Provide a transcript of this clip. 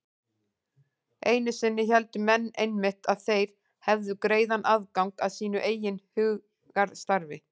Einu sinni héldu menn einmitt að þeir hefðu greiðan aðgang að sínu eigin hugarstarfi.